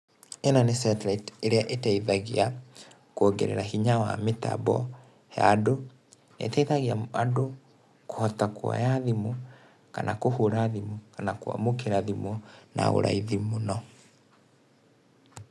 ĩno nĩ satellite ĩria ĩteithagia kuongerera hinya wa mĩtambo ya andũ, ĩteithagia andũ kũhota kũoya thimũ kana kũhũra thimũ, kana kwamũkĩra thimũ na ũraithi mũno.